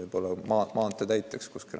võib-olla ta läheb maantee täiteks kuskile.